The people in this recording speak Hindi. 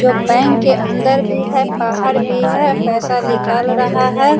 जो बैंक के अंदर भी है बाहर भी है पैसा निकाल रहा है।